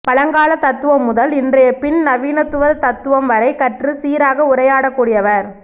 பழங்கால தத்துவம் முதல் இன்றைய பின் நவீனத்துவ தத்துவம் வரை கற்று சீராக உரையாடக்கூடியவர்